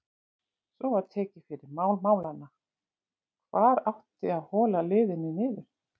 Svo var tekið fyrir mál málanna: Hvar átti að hola liðinu niður?